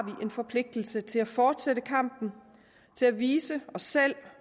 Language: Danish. en forpligtelse til at fortsætte kampen til at vise os selv